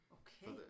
Okay